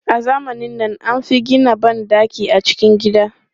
A zamanin nan, an fi gina ban ɗaki a cikin gida.